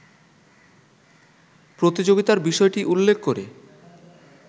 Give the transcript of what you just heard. প্রতিযোগিতার বিষয়টি উল্লেখ করে